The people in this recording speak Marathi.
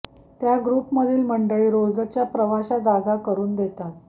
त्यात ग्रुपमधील मंडळी रोजच्या प्रवाशा जागा करुन देतात